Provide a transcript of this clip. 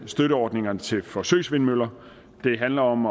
støtteordningerne til forsøgsvindmøller det handler om